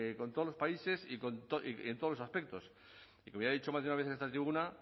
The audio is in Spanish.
con todos los países y en todos los aspectos y que me haya dicho más de una vez en esta tribuna